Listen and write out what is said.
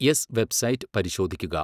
S website പരിശോധിക്കുക.